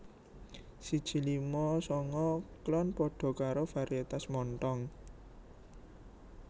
siji lima sanga klon padha karo varietas Montong